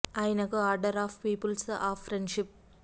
ఆయినకు order of peoples of friendship